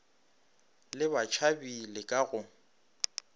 le batšhabi le ka go